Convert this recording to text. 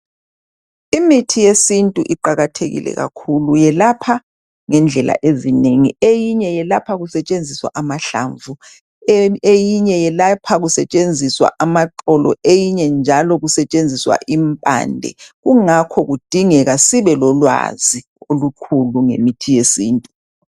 Imithi yesiNtu iqakathekile kakhulu yelapha ngendlela ezinengi eyinye yelapha kusetshenziswa amahlamvu, eyinye yelapha kusetshenziswa amaxolo, eyinye njalo kusetshenziswa impande kungakho kudingeka sibelolwazi olukhulu ngemithi yesintu.